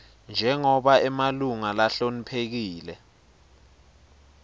njengobe emalunga lahloniphekile